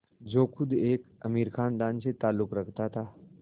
जो ख़ुद एक अमीर ख़ानदान से ताल्लुक़ रखता था